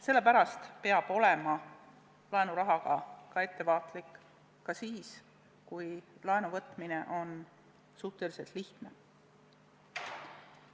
Sellepärast peab olema laenurahaga ettevaatlik, ka siis, kui laenu võtmine on suhteliselt lihtne.